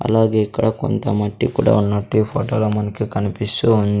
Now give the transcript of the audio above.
అలాగే ఇక్కడ కొంత మట్టి కుడా ఉన్నట్టు ఈ ఫోటోలో మనకి కనిపిస్సు వున్--